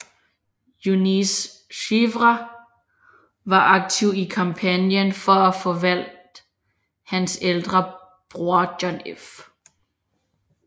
Eunice Shriver var aktiv i kampagnen for at få valgt hendes ældre bror John F